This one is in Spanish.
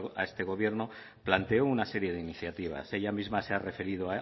a este gobierno planteó una serie de iniciativas ella misma se ha referido